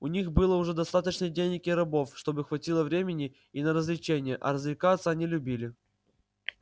у них было уже достаточно денег и рабов чтобы хватило времени и на развлечения а развлекаться они любили